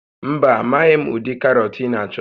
Mba, amaghị m ụdị karọt ị na-achọ